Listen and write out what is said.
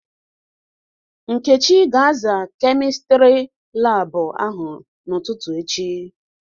Nkechi ga-aza Kemịstri laabụ ahụ n'ụtụtụ echi.